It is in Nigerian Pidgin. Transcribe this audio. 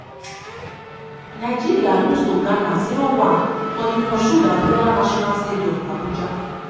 nigeria lose to ghana 0-1 for di moshood abiola national stadium abuja.